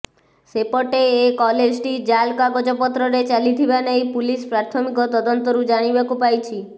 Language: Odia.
ସେପଟେ ଏ କଲେଜ ଟି ଜାଲ କାଗଜ ପତ୍ରରେ ଚାଲିଥିବା ନେଇ ପୋଲିସ ପ୍ରାଥମିକ ତଦନ୍ତ ଜାଣିବାକୁ ପାଇଛି